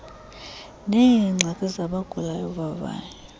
neengxaki zabagulayo vavanyo